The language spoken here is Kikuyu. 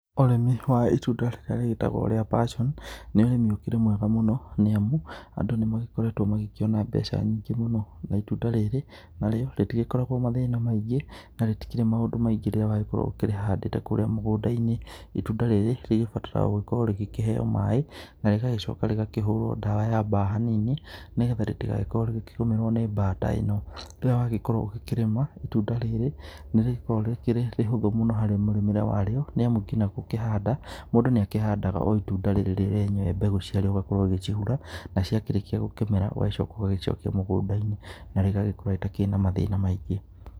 Urĩmi wa itunda rĩrĩa rĩtagwo rĩa passion nĩ ũrĩmĩ ũkĩrĩ mwega mũno nĩamũ andũ nĩmagĩkoretwo magĩkĩona mbeca nyĩngĩ mũno, na itunda rĩrĩ narĩo rĩtigĩkoragwo na mathĩna maĩngĩ na rĩtikĩrĩ maũndũ maĩngĩ rĩrĩa wagĩkorwo nĩũkĩrĩhandĩte kũrĩa mũgũnda-inĩ. Itunda rĩrĩ rĩgĩbataraga gũgĩkorwo rĩgĩkĩheo maĩ na rĩgagĩcoka rĩgakĩhũrwo ndawa ya mbaa hanini, nĩgetha rĩtĩgagĩkorwo rĩgĩkĩgumĩrwo nĩ mbaa ta ĩno. Rĩrĩa wagĩkorwo ũgĩkĩrĩma itunda rĩrĩ nĩrĩgĩkoragwo rĩkĩrĩ ihũthũ mũno harĩ mũrĩmĩre warĩo, nĩamũ nginya gũkihanda mũndũ nĩakĩhandaga o itunda rĩrĩ rĩ rĩenyewe mbegu cia rĩo, ũgakorwo ũgicihũra na ciakĩrĩkia gũkĩmera ũgacoka ũgagĩcokĩa mũgũnda-inĩ na rĩgagĩkorwo rĩtakĩrĩ na mathĩna maĩngĩ.